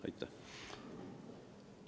Aitäh!